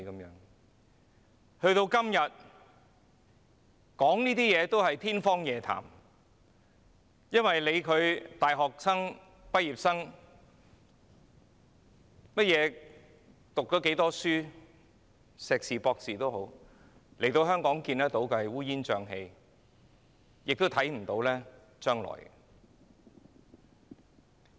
時至今日，這一切都是天方夜譚，因為不管是大學或學歷有多高的畢業生，在香港這個一片烏煙瘴氣的地方皆看不到將來。